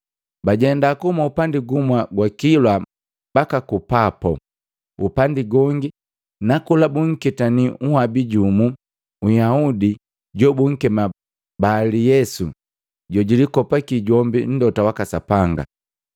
Bajenda kuhuma upandi gumwa gwa kilwa mbaki ku Papo, upandi gongi, na kola bunketani unhabi jumu Nyahudi jobunkema Bali Yesu jojulikopaki jombi mlota waka Sapanga.